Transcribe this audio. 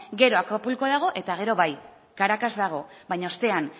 gero acapulco dago eta gero bai caracas dago baina ostean